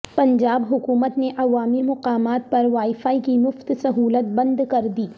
پنجاب حکومت نے عوامی مقامات پر وائی فائی کی مفت سہولت بند کردی